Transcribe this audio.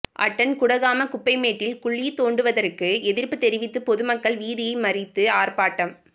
attend Kudagama குப்பைமேட்டில் குழி தோண்டுவதற்கு எதிர்ப்பு தெரிவித்து பொது மக்கள் வீதியை மறித்து ஆர்ப்பாட்டம்